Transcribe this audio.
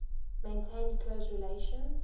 maintained close relations